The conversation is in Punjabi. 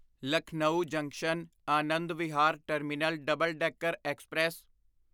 Lucknow junction Anand Vihar terminal double decker express